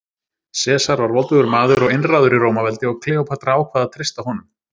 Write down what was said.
Sesar var voldugur maður og einráður í Rómaveldi og Kleópatra ákvað að treysta honum.